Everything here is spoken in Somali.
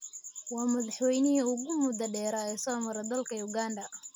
Waa madaxweynihii ugu muddada dheeraa ee soo mara dalka Uganda.